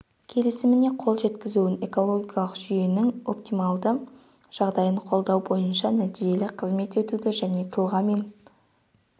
келісіміне қол жеткізілуін экологиялық жүйенің оптималды жағдайын қолдау бойынша нәтижелі қызмет етуді және тұлға мен